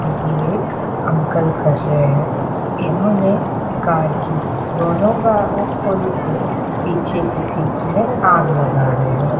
अभी एक अंकल कर रहे हैं। इन्होंने कार की दोनों गा ओ खोल के पीछे की सीट में आग लग रहे हैं।